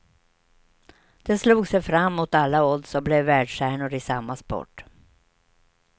De slog sig fram mot alla odds och blev världsstjärnor i samma sport.